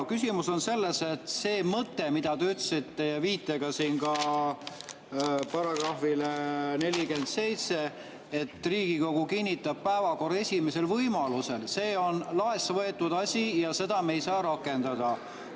Küsimus on selles, et see mõte, mida te ütlesite, viitega ka §‑le 47, et Riigikogu kinnitab päevakorra esimesel võimalusel, on laest võetud asi ja seda me ei saa rakendada.